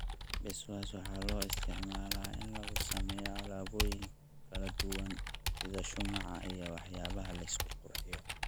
Beeswax waxaa loo isticmaalaa in lagu sameeyo alaabooyin kala duwan sida shumaca iyo waxyaabaha la isku qurxiyo.